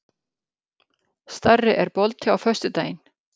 Starri, er bolti á föstudaginn?